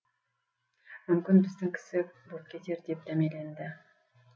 мүмкін біздің кісі боп кетер деп дәмеленді